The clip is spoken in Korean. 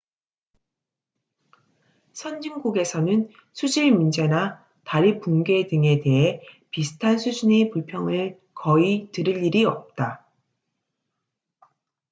선진국에서는 수질 문제나 다리 붕괴 등에 대해 비슷한 수준의 불평을 거의 들을 일이 없다